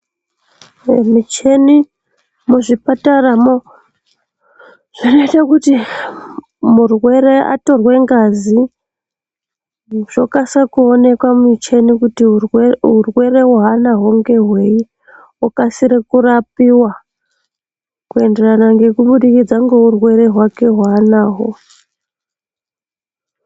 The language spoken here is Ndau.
Micheni muzvipataramwo zvinoite kuti murwere atorwe ngazi zvokasike kuonekwa mumucheni kuti urwere hwaanahwo ngehwei okasire kurapiwa kuenderana ngekubudikidza ngeurwere hwake hwaanaho.